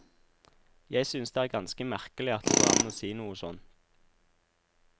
Jeg synes det er ganske merkelig at det går an å si noe sånt.